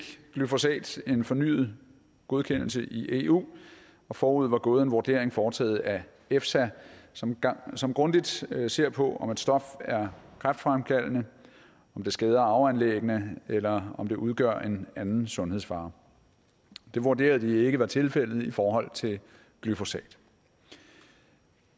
glyfosat en fornyet godkendelse i eu og forud var gået en vurdering foretaget af efsa som som grundigt ser ser på om et stof er kræftfremkaldende om det skader arveanlæggene eller om det udgør en anden sundhedsfare det vurderede vi ikke var tilfældet i forhold til glyfosat